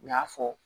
U y'a fɔ